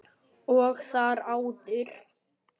Og þar áður?